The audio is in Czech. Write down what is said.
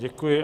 Děkuji.